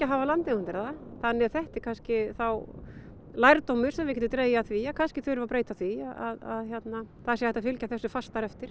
hafa landeigendur það þannig að þetta er kannski lærdómur sem við getum dregið af því að kannski þurfum við að breyta því að það sé hægt að fylgja þessu fastar eftir